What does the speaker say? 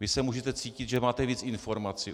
Vy se můžete cítit, že máte víc informací.